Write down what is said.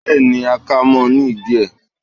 bẹẹni, a ka mo ní idí e